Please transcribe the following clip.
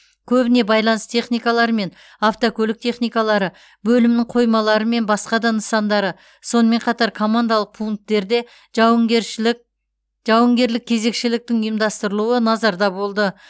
көбіне байланыс техникалары мен автокөлік техникалары бөлімнің қоймалары мен басқа да нысандары сонымен қатар командалық пункттерде жауынгершілік жауынгерлік кезекшіліктің ұйымдастырылуы назарда болды